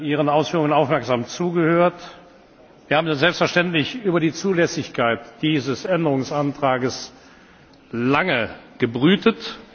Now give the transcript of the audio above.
Ihren Ausführungen aufmerksam zugehört. Wir haben selbstverständlich über der Zulässigkeit dieses Änderungsantrags lange gebrütet.